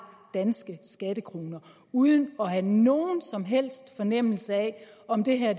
danske skattekroner uden at have nogen som helst fornemmelse af om det her